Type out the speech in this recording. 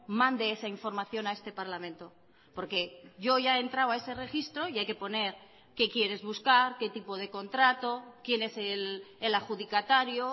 mande esa información a este parlamento porque yo ya he entrado a ese registro y hay que poner qué quieres buscar qué tipo de contrato quién es el adjudicatario